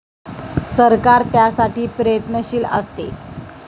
सरकार त्यासाठी प्रयत्नशील असते.